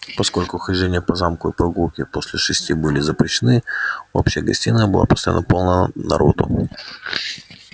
поскольку хождение по замку и прогулки после шести были запрещены общая гостиная была постоянно полна народу